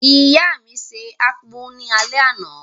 ìyá mi se akpu ní alé àná.